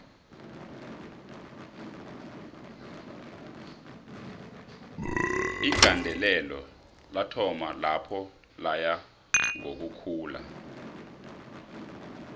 igandelelo lathoma lapho laya ngokuhula